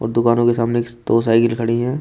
और दुकानों के सामने ए दो साइकिल खड़ी है।